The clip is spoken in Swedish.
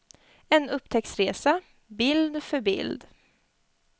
En upptäcktsresa, bild för bild.